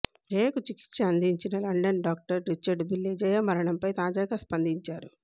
జయకు చికిత్స అందించిన London doctor Richard Beale జయమరణంపై తాజాగా స్పందించారు